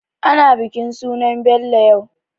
Ana bikin sunan Bello yau.